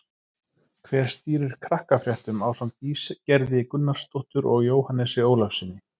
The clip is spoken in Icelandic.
Hver stýrir Krakkafréttum ásamt Ísgerði Gunnarsdóttur og Jóhannesi Ólafssyni?